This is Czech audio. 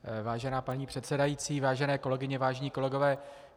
Vážená paní předsedající, vážené kolegyně, vážení kolegové.